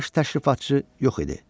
Baş təşrifatçı yox idi.